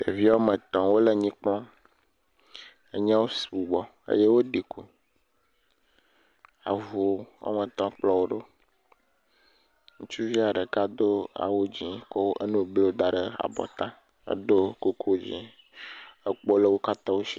Ɖevi woame etɔ̃ wole nyi kplɔm. Enyiawo sugbɔ eye woɖi ku. Avu woame tɔ̃ kplɔ wo ɖo. Ŋutsuvia ɖeka do awu dzee kɔ enu blu da ɖe abɔta hedo kuku dzee, ekpo le wo katãwo si.